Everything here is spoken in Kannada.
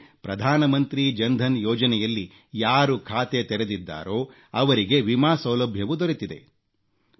ಅಲ್ಲದೆ ಪ್ರಧಾನಮಂತ್ರಿ ಜನ್ಧನ್ ಯೋಜನೆಯಲ್ಲಿ ಯಾರು ಖಾತೆ ತೆರೆದಿದ್ದಾರೋ ಅವರಿಗೆ ವಿಮಾ ಸೌಲಭ್ಯವೂ ದೊರೆತಿದೆ